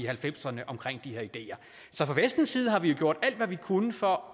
halvfemserne om de her ideer så fra vestens side har vi gjort alt hvad vi kunne for